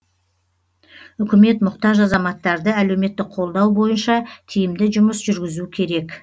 үкімет мұқтаж азаматтарды әлеуметтік қолдау бойынша тиімді жұмыс жүргізу керек